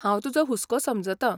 हांव तुजो हुसको समजतां.